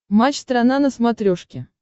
матч страна на смотрешке